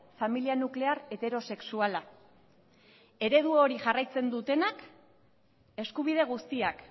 familia nuklear heterosexuala eredu hori jarraitzen dutenak eskubide guztiak